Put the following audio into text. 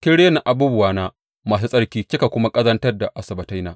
Kin rena abubuwana masu tsarki kika kuma ƙazantar da Asabbataina.